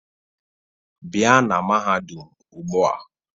Bia na mahadum ugbua